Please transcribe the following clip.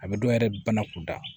A bɛ dɔ yɛrɛ bana kunda